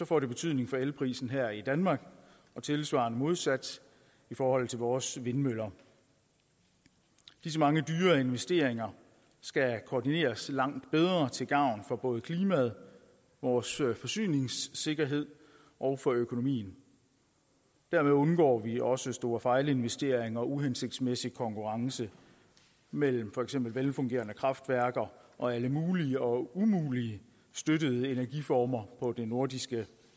får det betydning for elprisen her i danmark og tilsvarende modsat i forhold til vores vindmøller disse mange dyre investeringer skal koordineres langt bedre til gavn for både klimaet vores forsyningssikkerhed og og økonomien derved undgår vi også store fejlinvesteringer og uhensigtsmæssig konkurrence mellem for eksempel velfungerende kraftværker og alle mulige og umulige støttede energiformer på det nordiske